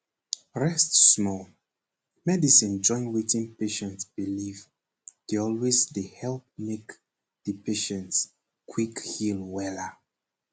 rest small medicine join wetin patient believe dey always dey help make di patient quick heal wella.